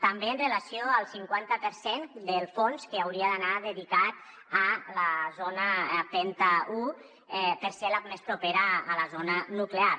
també amb relació al cinquanta per cent del fons que hauria d’anar dedicat a la zona penta un perquè és la més propera a la zona nuclear